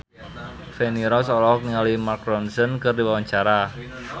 Feni Rose olohok ningali Mark Ronson keur diwawancara